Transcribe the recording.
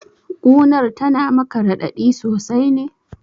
Ƙunar tana maka raɗaɗi sosai ne?